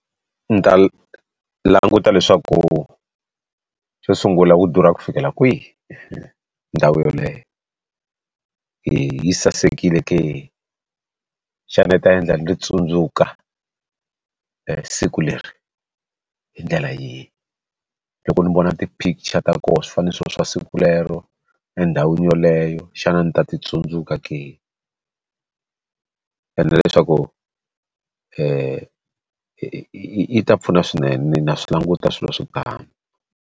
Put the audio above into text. Ni ta languta leswaku xo sungula wu durha ku fikela kwihi ndhawu yeleyo yi sasekile ke xana yi ta endla ni tsundzuka siku leri hi ndlela yihi loko ni vona ti picture ta kona swi fanele swi va swa siku rero endhawini yoleyo xana ni ta ti tsundzuka ke endla leswaku yi ta pfuna swinene na swi languta swilo swo tano.